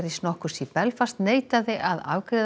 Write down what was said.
nokkurs í Belfast neitaði að afgreiða